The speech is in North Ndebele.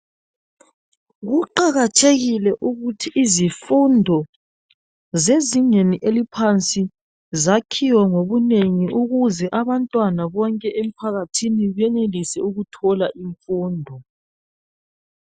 Kuqakathekile ukuthi izifundo zezingeni eliphansi zakhiwe ngobunengi ukuze abantwana bonke emphakathini benelise ukuthola imfundo.